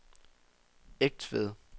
Egtved